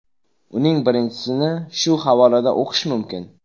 Uning birinchisini shu havolada o‘qish mumkin.